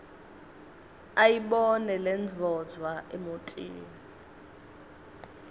ayibone lendvodza emotini